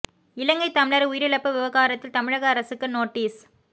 இலங்கை தமிழர் உயிரிழப்பு விவகாரத்தில் தமிழக அரசுக்கு நோட்டீஸ்